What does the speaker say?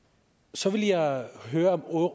så vil jeg høre om